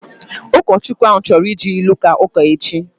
Ụkọchukwu ahu chọrọ iji ilu kaa ụka echi